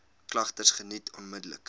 klagtes geniet onmiddellik